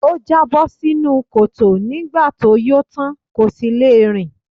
Ó jábọ́ sínú kòtò nígbà tó yó tán, kò sì le rìn.